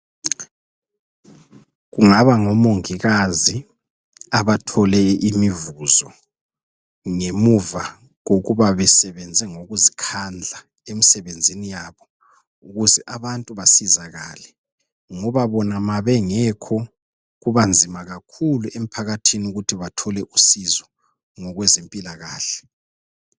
Kungaba ngomongikazi abathole imivuzo ngemuva kokuba besebenze ngokuzikhandla emsebenzini yabo ukuze abantu basizakale ngoba bona babengekho kuba nzima kakhulu emphakathini ukuthi bathole usizo ngokwe zempilakahle